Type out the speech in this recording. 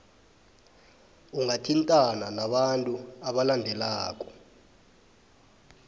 ungathintana nabantu abalandelako